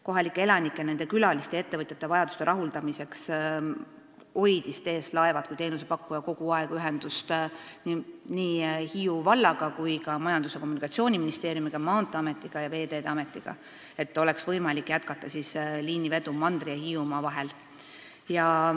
Kohalike elanike, nende külaliste ja ettevõtjate vajaduste rahuldamiseks hoidis TS Laevad kui teenusepakkuja kogu aeg ühendust nii Hiiu vallaga kui ka Majandus- ja Kommunikatsiooniministeeriumiga, Maanteeametiga ja Veeteede Ametiga, et oleks võimalik jätkata liinivedu mandri ja Hiiumaa vahel.